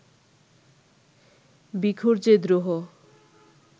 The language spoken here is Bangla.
ভিখুর যে দ্রোহ